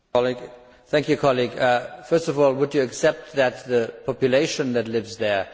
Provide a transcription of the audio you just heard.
First of all, would you accept that the population that lives there also has a right to development?